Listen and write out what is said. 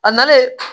A nalen